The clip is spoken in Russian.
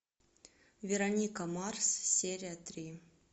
вероника марс серия три